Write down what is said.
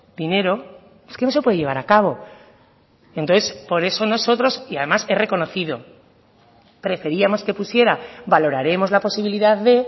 dinero es que no se puede llevar a cabo entonces por eso nosotros y además he reconocido preferíamos que pusiera valoraremos la posibilidad de